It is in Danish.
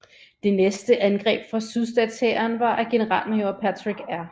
Det næste angreb fra sydstatshæren var af generalmajor Patrick R